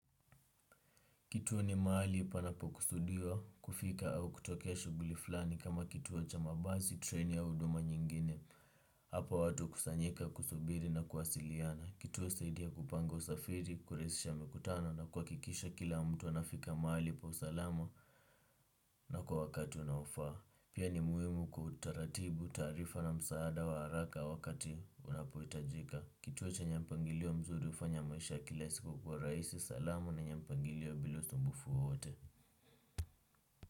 Kituo ni mahali panapo kusudiwa kufika au kutokea shuguli fulani kama kituo cha mabasi treni au huduma nyingine. Hapa watu hukusanyika kusubiri na kuwasiliana kituo husaidia kupanga usafiri kurahisisha mikutano na kuhakikisha kila mtu anafika mahali pa usalama. Na kwa wakati unaofaa pia ni muhimu kutaratibu taarifa na msaada wa haraka wakati unapohitajika. Kituo chenye mpangilio mzuri hufanya maisha ya kila siku kuwa rahisi salama na yenye mpangilio bila usumbufu wowote.